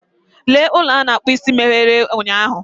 Ee, ụlọ a na-akpụ isi meghere ụnyahụ.